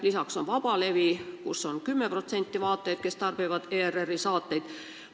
Lisaks on vabalevi, mida kasutab 10% vaatajaid, kes tarbivad ERR-i saateid.